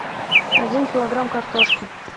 один килограмм картошки